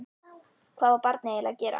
Hvað var barnið eiginlega að gera?